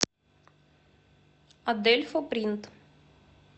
адельфо принт